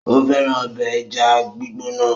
Ó fẹ́ràn ọbẹ̀ ẹja gbígbóná.